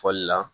Fɔli la